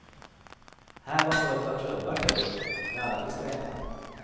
Här var fullt av klubbar förut, men alla fick stänga.